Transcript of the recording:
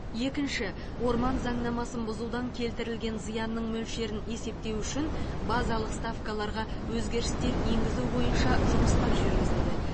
екінші орман заңнамасын бұзудан келтірілген зиянның мөлшерін есептеу үшін базалық ставкаларға өзгерістер енгізу бойынша жұмыстар жүргізілді